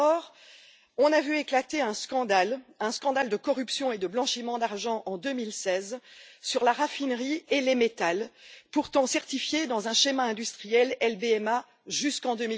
Or, on a vu éclater un scandale de corruption et de blanchiment d'argent, en 2016, sur la raffinerie et les métaux pourtant certifiés dans un schéma industriel LBMA jusqu'en